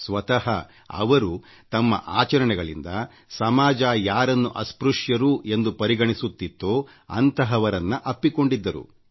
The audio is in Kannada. ಸ್ವತಃ ಅವರು ತಮ್ಮ ಆಚರಣೆಗಳಿಂದ ಸಮಾಜ ಯಾರನ್ನು ಅಸ್ಪೃಶ್ಯರು ಎಂದು ಪರಿಗಣಿಸುತ್ತಿತ್ತೋ ಅಂಥವರನ್ನ ಅಪ್ಪಿಕೊಂಡಿದ್ದರು